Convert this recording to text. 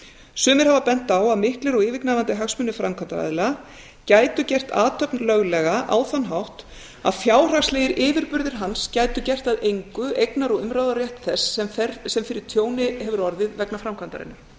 sumir hafa bent á að miklir og yfirgnæfandi hagsmunir framkvæmdaraðila gætu gert athöfn löglega á þann hátt að fjárhagslegir yfirburðir hans gætu gert að engu eignar og umráðarétt þess sem fyrir tjóni hefur orðið vegna framkvæmdarinnar